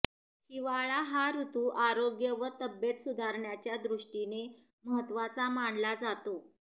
हिवाळा हा ऋतू आरोग्य व तब्येत सुधारण्याच्या दृष्टीने महत्त्वाचा मानला जातो